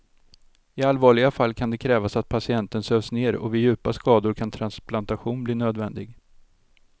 I allvarliga fall kan det krävas att patienten sövs ner och vid djupa skador kan transplantation bli nödvändig.